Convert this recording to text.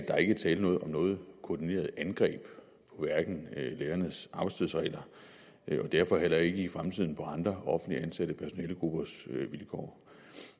der ikke er tale om noget koordineret angreb på lærernes arbejdstidsregler og derfor heller ikke i fremtiden på andre offentligt ansatte personalegruppers vilkår